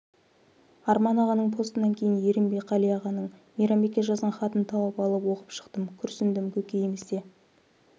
арман ағаның постынан кейін ерінбей қали ағаның мейрамбекке жазған хатын тауып алып оқып шықтым күрсіндім көкейімізде